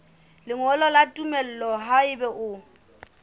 lengolo la tumello haeba o